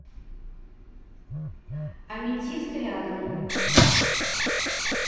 аметист рядом